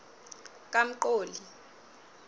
kamqoli